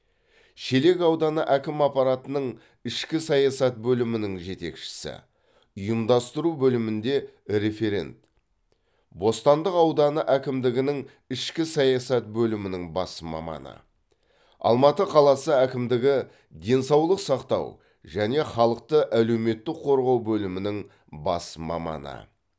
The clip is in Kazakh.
шелек ауданы әкім аппаратының ішкі саясат бөлімінің жетекшісі ұйымдастыру бөілмінде референт бостандық ауданы әкімдігінің ішкі саясат бөлімінің бас маманы алматы қаласы әкімдігі денсаулық сақтау және халықты әлеуметтік қорғау бөлімінің бас маманы